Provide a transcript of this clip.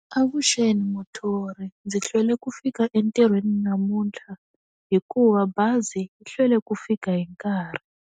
Avuxeni muthori. Ndzi hlwele ku fika entirhweni namuntlha, hikuva bazi yi hlwele ku fika hi nkarhi.